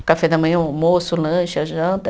O café da manhã, o almoço, o lanche, a janta.